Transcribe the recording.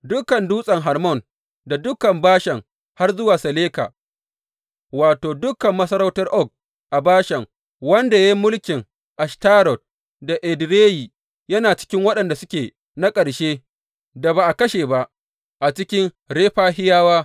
Dukan Dutsen Hermon, da dukan Bashan har zuwa Saleka, wato, dukan masarautar Og a Bashan, wanda ya yi mulkin Ashtarot da Edireyi, yana cikin waɗanda suke na ƙarshe da ba a kashe ba a cikin Refahiyawa.